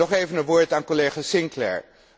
Nog even een woord aan collega Sinclaire.